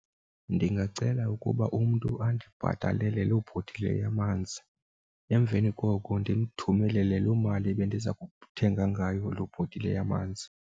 Ndingacela ukuba umntu andibhatalele loo bhotile yamanzi, emveni koko ndimthumelele loo mali bendiza kuthenga ngayo loo bhotile yamanzi.